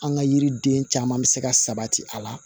An ka yiriden caman bɛ se ka sabati a la